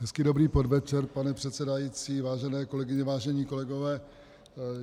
Hezký dobrý podvečer, pane předsedající, vážené kolegyně, vážení kolegové.